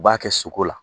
U b'a kɛ suko la